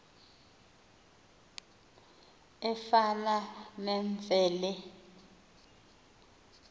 efana nemfe le